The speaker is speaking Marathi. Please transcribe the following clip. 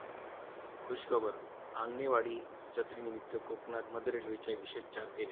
खुशखबर! आंगणेवाडी जत्रेनिमित्त कोकणात मध्य रेल्वेच्या विशेष चार फेऱ्या